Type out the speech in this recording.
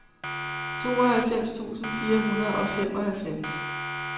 tooghalvfems tusind fire hundrede og femoghalvfems